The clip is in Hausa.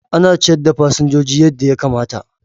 Ana ciyar da fasinjoji yadda ya kamata.